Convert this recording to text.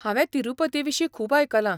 हांवें तिरूपतीविशीं खूब आयकलां.